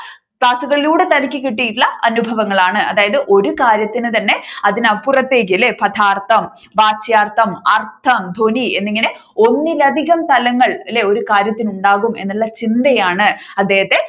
ക്ലാസ്സുകളിലൂടെ തനിക്ക് കിട്ടിയട്ടുളള അനുഭവങ്ങളാണ് അതായത് ഒരു കാര്യത്തിന് തന്നെ അതിനപ്പുറത്തേക്ക് അല്ലെ പദാർത്ഥം, വാച്യാർത്ഥം, അർഥം, ധ്വനി എന്നിങ്ങനെ ഒന്നിലധികം തലങ്ങൾ ഒരുകാര്യത്തിന് ഉണ്ടാകും എന്നുള്ള ചിന്തയാണ് അദ്ദേഹത്തെ